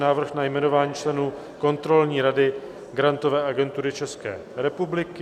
Návrh na jmenování členů Kontrolní rady Grantové agentury České republiky